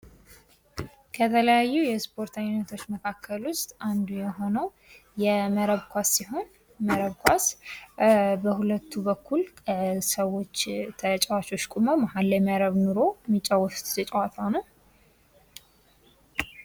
ከተለያዩ የእስፖርት አይነቶች መካከል ውስጥ አንዱ የሆነው የመረብ ኳስ ሲሆን መረብ ኳስ በሁለቱ በኩል ተጫዋቾች ቁመው መሀል ላይ መረብ ኑሮ የሚጫወቱት ጨዋታ ነው።